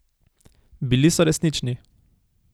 Bili so resnični.